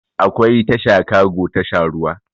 Akwai tasha kago tasha ruwa